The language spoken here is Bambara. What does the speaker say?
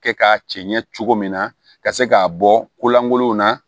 Kɛ k'a cɛ ɲɛ cogo min na ka se k'a bɔ ko lankolonw na